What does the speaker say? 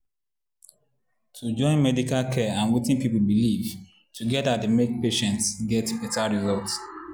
to join medical care and wetin people believe together dey make patients get better results.